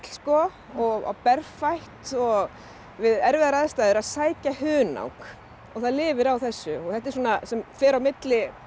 og og berfætt og við erfiðar aðstæður að sækja hunang og það lifir á þessu þetta er svona sem fer á milli